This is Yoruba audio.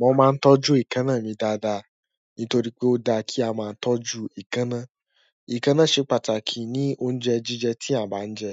Mo máa ń tọ́jú ekaná mi dáadáa nítorí pé ó dáa kí a máa tọ́jú ìkaná. Ikana ṣe pàtàkì ni oúnjẹ jíjẹ tí àba ń jẹ